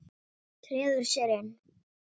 Treður sér inn.